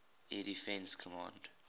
air defense command